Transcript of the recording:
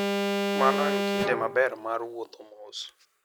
Mano en kinde maber mar wuotho mos.